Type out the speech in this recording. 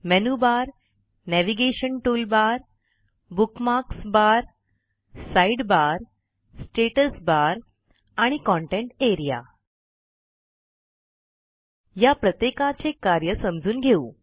menu bar navigation toolbar bookmarks bar side bar status bar आणि content area या प्रत्येकाचे कार्य समजून घेऊ